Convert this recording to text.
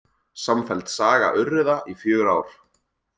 Samfelld saga urriða í fjögur ár